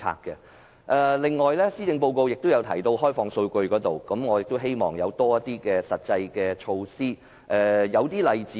此外，施政報告提到開放數據，我希望有更多實際措施。